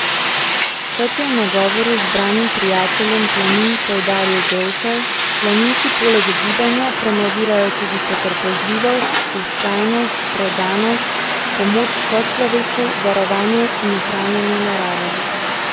Kot je v nagovoru zbranim prijateljem planin poudaril Grošelj, planinci poleg gibanja promovirajo tudi potrpežljivost, vztrajnost, predanost, pomoč sočloveku, varovanje in ohranjanje narave.